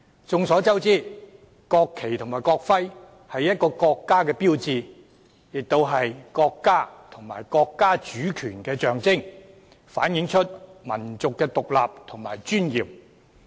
眾所周知，國旗及國徽是一個國家的標誌，亦是國家和國家主權的象徵，反映民族的獨立和尊嚴。